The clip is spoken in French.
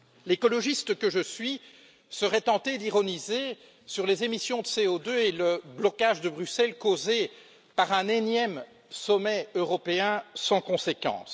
L'écologiste que je suis serait tenté d'ironiser sur les émissions de CO2 et le blocage de Bruxelles causé par un énième sommet européen sans conséquence.